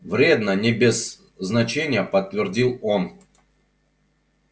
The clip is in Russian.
вредно не без значения подтвердил он